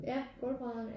Ja gulvbrædder